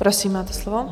Prosím, máte slovo.